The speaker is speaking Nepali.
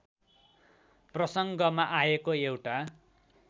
प्रसङ्गमा आएको एउटा